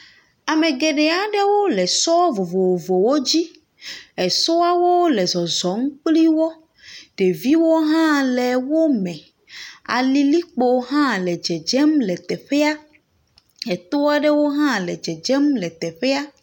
Ame geɖe aɖewo le sɔ vovovowo dzi. Esɔawo le zɔzɔm kpli wo. Ɖeviwo hã le wo me. Alilikpo hã le dzedzem le teƒea. Etoa ɖewo hã le dzedzem le teƒea.